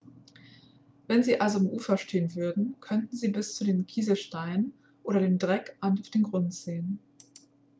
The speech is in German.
wenn sie also am ufer stehen würden könnten sie bis zu den kieselsteinen oder dem dreck auf dem grund sehen.x